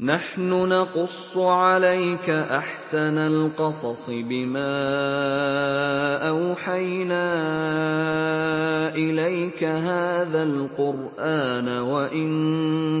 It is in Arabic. نَحْنُ نَقُصُّ عَلَيْكَ أَحْسَنَ الْقَصَصِ بِمَا أَوْحَيْنَا إِلَيْكَ هَٰذَا الْقُرْآنَ وَإِن